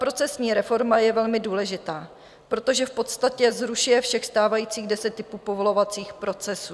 Procesní reforma je velmi důležitá, protože v podstatě zrušuje všech stávajících deset typů povolovacích procesů.